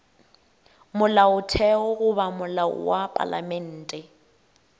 molaotheo goba molao wa palamente